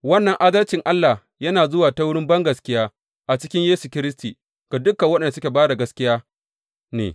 Wannan adalcin Allah yana zuwa ta wurin bangaskiya a cikin Yesu Kiristi ga dukan waɗanda suka ba da gaskiya ne.